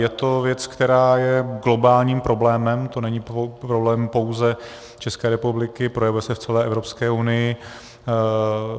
Je to věc, která je globálním problémem, to není problém pouze České republiky, projevuje se v celé Evropské unii.